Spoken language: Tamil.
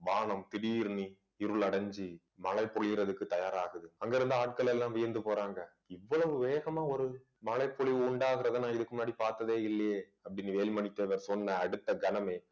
வானம் திடீர்ன்னு இருளடைஞ்சு மழை பொழியிறதுக்கு தயாராகுது அங்கிருந்த ஆட்கள் எல்லாம் வியந்து போறாங்க இவ்வளவு வேகமா ஒரு மழைப்பொழிவு உண்டாகிறதை நான் இதுக்கு முன்னாடி பார்த்ததே இல்லையே அப்படின்னு வேலுமணி தேவர் சொன்ன அடுத்த கணமே